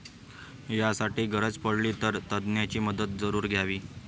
यासाठी गरज पडली, तर तज्ज्ञांची मदत जरूर घ्यावी.